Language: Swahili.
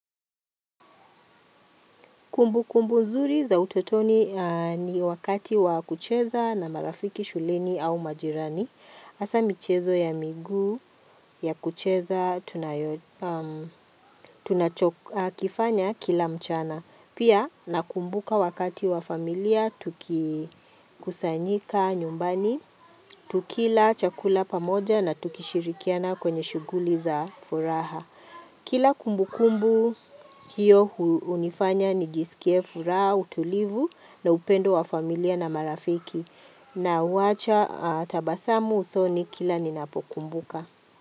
Kumbu kumbu nzuri za utotoni ni wakati wa kucheza na marafiki shuleini au majirani. Hasa michezo ya miguu ya kucheza tunachokifanya kila mchana. Pia nakumbuka wakati wa familia tukikusanyika nyumbani, tukila chakula pamoja na tukishirikiana kwenye shuguli za furaha. Kila kumbu kumbu hiyo hunifanya ni jisikiefu raa, utulivu na upendo wa familia na marafiki na uwacha tabasamu usoni kila ninapokumbuka.